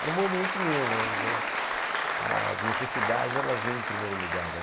Era um momento meu, mas as necessidades, elas vêm em primeiro lugar, né?